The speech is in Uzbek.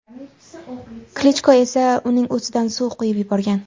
Klichko esa uning ustidan suv quyib yuborgan.